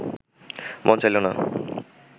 মন চাইল না